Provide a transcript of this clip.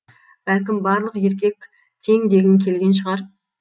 бәлкім барлық еркек тең дегің келген шығар